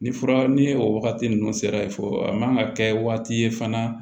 Ni fura ni o wagati ninnu sera fɔ a man ka kɛ waati ye fana